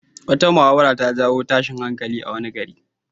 Wata muhawara ta jawo tashin hankali a wani gari.